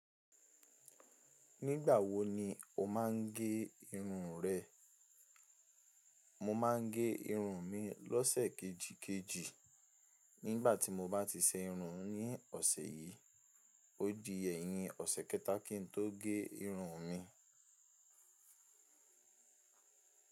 Nígbà wo ni o máa ń gẹ irun rẹ? Mo máa ń gẹ irun mi lọ́sẹ̀ kejìkejì. Nígbà tí mo bá ti ṣe irun ní ọ̀sẹ̀ yìí, ó di ẹ̀yin ọ̀sẹ̀ kẹta kí n tó gé irun mi.